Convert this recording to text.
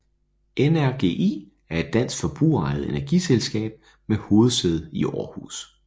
NRGi er et dansk forbrugerejet energiselskab med hovedsæde i Århus